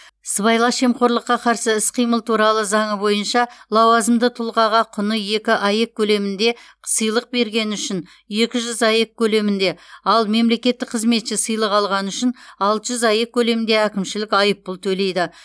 сыбайлас жемқорлыққа қарсы іс қимыл туралы заңы бойынша лауазымды тұлғаға құны екі аек көлемінде сыйлық бергені үшін екі жүз аек көлемінде ал мемлекеттік қызметші сыйлық алғаны үшін алты жүз аек көлемінде әкімшілік айыппұл төлейді